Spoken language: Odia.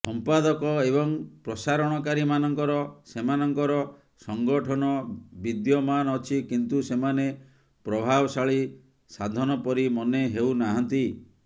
ସଂପାଦକ ଏବଂ ପ୍ରସାରଣକାରୀମାନଙ୍କର ସେମାନଙ୍କର ସଙ୍ଗଠନ ବିଦ୍ୟମାନ ଅଛି କିନ୍ତୁ ସେମାନେ ପ୍ରଭାବଶାଳୀ ସାଧନ ପରି ମନେ ହେଉନାହାଁନ୍ତି